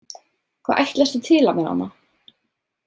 Hvað ætlastu til af mér Anna?